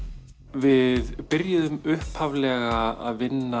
við byrjuðum upphaflega